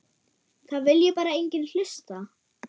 Það vilji bara enginn hlusta.